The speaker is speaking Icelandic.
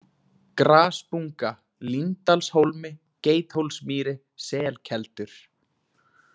Grasbunga, Líndalshólmi, Geithólsmýri, Selkeldur